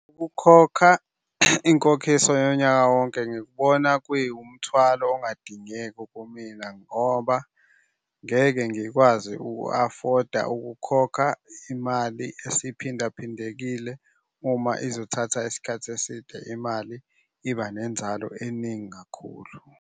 Ukukhokha inkokhiso yonyaka wonke ngikubona kwi umthwalo ongadingeki kumina ngoba ngeke ngikwazi uku-afoda ukukhokha imali esiphindaphindekile. uma izothatha isikhathi eside, imali iba nenzalo eningi kakhulu.